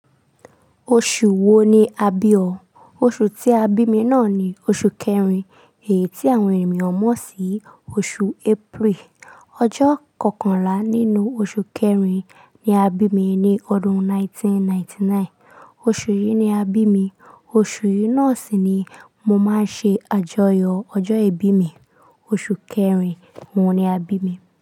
Oṣù wo ni a bí ọ? Oṣù tí a bí mi náà ni oṣù kẹrin, èyí tí àwọn ènìyàn mọ̀ sí oṣù April. Ọjọ́ kọkànlá nínú oṣù kẹrin ni a bí mi ní ọdún 1999. Oṣù yìí ni a bí mi. Oṣù yìí náà sì ni mo máa ń ṣe àjọyọ̀ ọjọ́ ìbí mi. Oṣù kẹrin òun ni a bí mi.